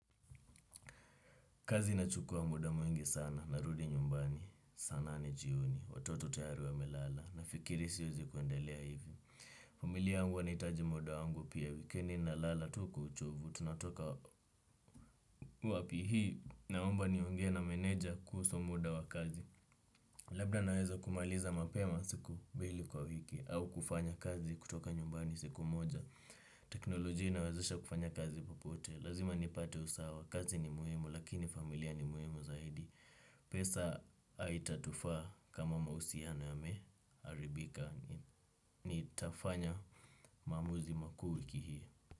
Kazi nachukua muda mwingi sana, narudi nyumbani, sana nane jioni, watoto tayari wa melala, nafikiri siuzi kuendelea hivi. Familia yaangu wanaitaji muda wangu pia wikendi nalala tu kwa uchovu, tunatoka wapi hii, naomba nionge na meneja kuhusu muda wa kazi. Labda naweza kumaliza mapema siku mbili kwa wiki, au kufanya kazi kutoka nyumbani siku moja. Teknolojia inawezesha kufanya kazi popote, lazima nipate usawa, kazi ni muhimu, lakini familia ni muhimu zaidi. Pesa haitatufa kama mausiano yameharibika nitafanya mamuzi maku wiki hii.